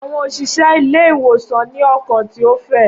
Awọn oṣiṣẹ ile-iwosan ni ọkan ti o fẹ.